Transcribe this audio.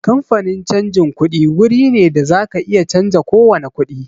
Kamfanin canjin kuɗi guri ne da zaka iya canza kowani kuɗi